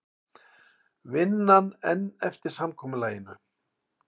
Vinna enn eftir samkomulaginu